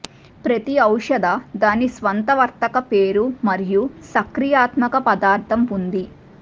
ప్రతి ఔషధ దాని స్వంత వర్తక పేరు మరియు సక్రియాత్మక పదార్ధం ఉంది